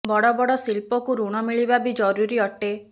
ବଡ ବଡ ଶିଳ୍ପକୁ ୠଣ ମିଳିବା ବି ଜରୁରୀ ଅଟେ